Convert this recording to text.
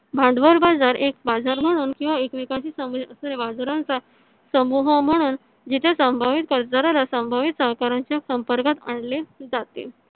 भांडवल बाजार एक बाजार म्हणून किंवा एकमेकांची चा समूह म्हणून जिथे संभवित कर्जदाराला संभवित सहकारांच्या संपर्कात आणले जाते.